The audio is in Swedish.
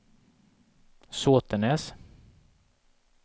Sotenäs